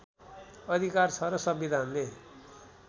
अधिकार छ र संविधानले